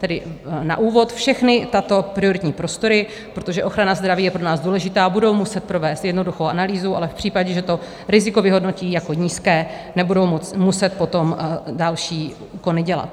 Tedy na úvod všechny tyto prioritní prostory, protože ochrana zdraví je pro nás důležitá, budou muset provést jednoduchou analýzu, ale v případě, že to riziko vyhodnotí jako nízké, nebudou muset potom další úkony dělat.